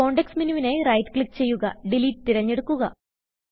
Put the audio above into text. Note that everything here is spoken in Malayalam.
കോണ്ടെക്സ്റ്റ് menuവിനായി റൈറ്റ് ക്ലിക്ക് ചെയ്യുക ഡിലീറ്റ് തിരഞ്ഞെടുക്കുക